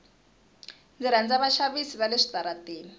ndzi rhandza vaxavisi vale switarateni